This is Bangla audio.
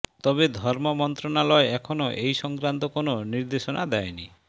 তবে ধর্ম মন্ত্রণালয় এখনও এই সংক্রান্ত কোনো নির্দেশনা দেয়নি